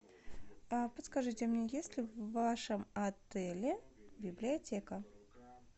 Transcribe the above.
подскажите мне есть ли в вашем отеле библиотека